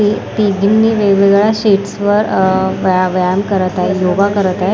हे तिघींनी वेगवेगळ्या स्टेप्स वर अ व्याय व्यायाम करत आहे योगा करत आहे.